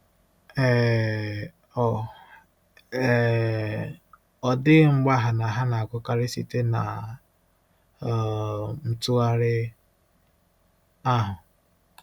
um Ọ um Ọ dịghị mgbagha na ha na-agụkarị site na um ntụgharị ahụ.